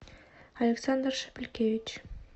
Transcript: александр шепелькевич